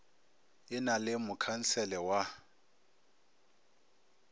e na le mokhansele wa